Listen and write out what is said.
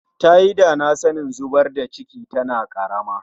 Tayi dana sanin zubar da cikin tana karama